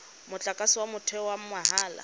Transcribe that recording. motlakase wa motheo wa mahala